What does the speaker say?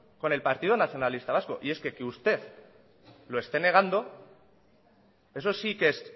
con el partido nacionalista vasco y es que que usted lo esté negando eso sí que es